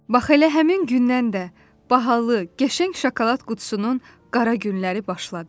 Bax elə həmin gündən də bahalı, qəşəng şokolad qutusunun qara günləri başladı.